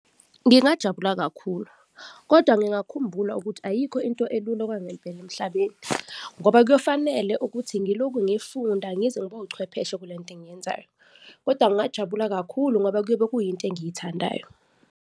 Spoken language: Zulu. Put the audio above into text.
Ngingajabula kakhulu kodwa ngingakhumbula ukuthi ayikho into elula okwangempela emhlabeni ngoba kuyofanele ukuthi ngiloku ngifunda ngize ngibe uchwepheshe kulento engiyenzayo kodwa ngingajabula kakhulu ngoba kuyobe kuyinto engiyithandayo.